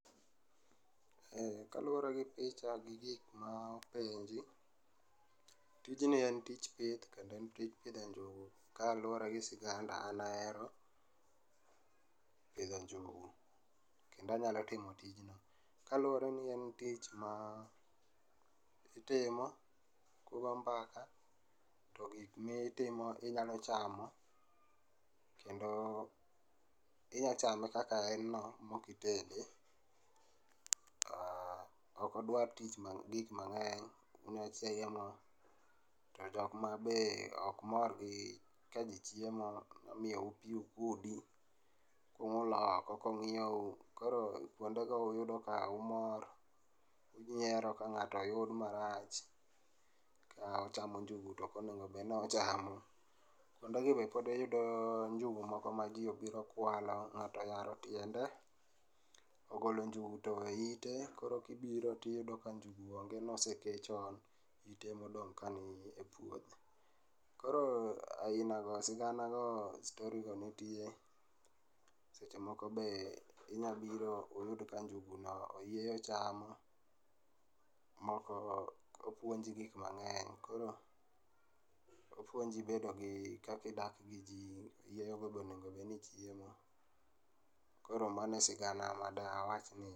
Kaluore gi picha gi gik ma openji, tijni en tich pith kendo en tij pidho njugu .Kaluore gi siganda an ahero pidho njugu kendo anyalo timo tijni kaluore ni en tich ma itimo kugo mbaka to gik mitimo inya chamo kendo inya chame kaka en no mokitede to ok odwa tich ma, gik mangeny. To jokma be ok mor gi kaji chiemo imiyou pii ukudi uulo oko kongiyou, koro kuonde go uyudo ka umor, unyiero ka ng'ato oyud marach ka ochamo njugu ka ok onego obed ni ochamo. Kuonde gi be pod iyudo njugu moko ma jii obiro kwalo, ng'ato oyaro tiende, ogolo njugu towe ite, koro kibiro tiyudo ka njugu onge, nosekee chon, nitie modong ka e puodho, koro aina go, sigana go, story go nitie .Seche moko be unya biro uyud ka njugu go oyieyo ochamo, moko opuonji gik mangeny. Koro opuonji bedo gi, kaka idak gi jii, oyieyo go bende onego bedni chiemo. Koro mano e sigana madawachni